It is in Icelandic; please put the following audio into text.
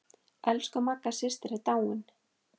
Elsku Magga systir er dáin.